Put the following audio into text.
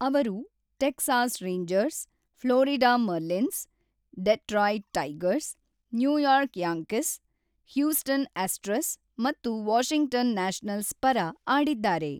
ಅವರು Texas Rangers, Florida Marlins, Detroit Tigers, New York Yankees, Houston Astros ಮತ್ತು Washington Nationals ಪರ ಆಡಿದ್ದಾರೆ.